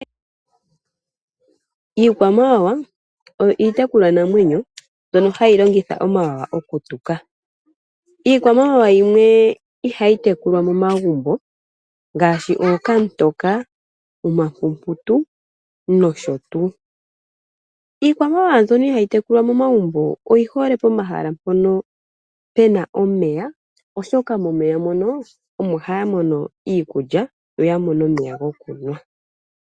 Iikwamawawa oyo iitekulwa namwenyo mbyono hayi longitha omawawa oku tuka. Iikwamawawa yimwe ihayi tekulwa momagumbo. Ngaashi okamutoka, omapumputu noshotuu. Iikwamawawa mbyono ihayi tekulwa momagumbo oyi hole pomahala mpono puna omeya. Oshoka momeya mono omo haya mono iikulya yoya mone omeya gokunwa.